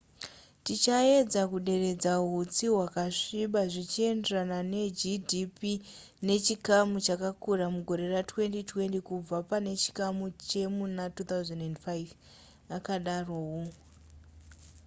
tichaedza kuderedza hutsi hwakasviba zvichienderana negdp nechikamu chakakura mugore ra2020 kubva pane chikamu chemuna 2005 akadaro hu